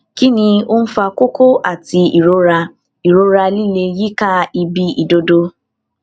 kí ni ó ń fa kókó um àti um ìrora ìrora líle yíká ibi ìdodo